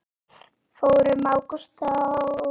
Fór um Ágúst þá?